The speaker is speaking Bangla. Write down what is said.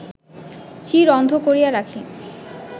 চির-অন্ধ করিয়া রাখি